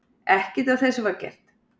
Ekkert af þessu var gert.